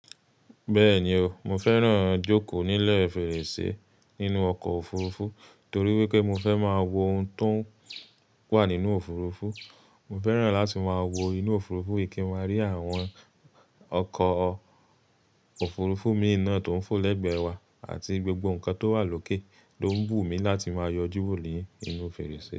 Bẹ́ẹ̀ni o, mo fẹ́ràn jókòó nílẹ̀ fèrèsé nínú ọkọ̀ òfurufú torí wípé mo fẹ́ máa wo ohun tó ń wà nínú òfurufú. Mo fẹ́ràn láti máa wo inú òfurufú yi kí n máa rí àwọn ọkọ̀ òfurufú mìí na tó ń fò lẹ́gbẹ̀ẹ́ wa àti gbogbo nǹkan tó wà lókè ló ń wù mí láti máa yọjú wò ó ní inú fèrèsé.